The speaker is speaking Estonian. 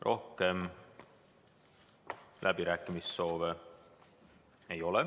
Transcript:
Rohkem läbirääkimise soove ei ole.